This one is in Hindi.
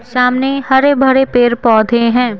सामने हरे भरे पेड़ पौधे हैं।